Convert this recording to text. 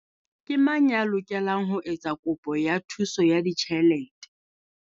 Ke mang ya lokelang ho etsa kopo ya thuso ya ditjhelete?